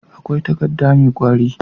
akwai takadda me kwari